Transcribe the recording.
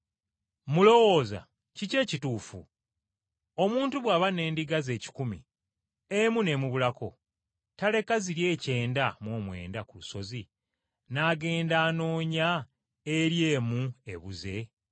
“Mulowooza kiki ekituufu? Omuntu bw’aba n’endiga ze ekikumi, emu n’emubulako, taleka ziri ekyenda mu omwenda ku lusozi n’agenda anoonya eri emu ebuze?